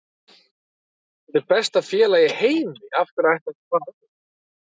Þetta er besta félag í heimi, af hverju ætti hann að fara annað?